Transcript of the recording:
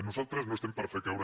nosaltres no estem per fer caure